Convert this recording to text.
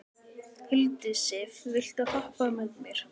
Hildisif, viltu hoppa með mér?